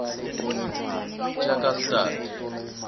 tjakastad